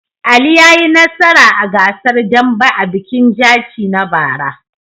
Ali ya yi nasara a gasar dambe a bikin Jaci na bara.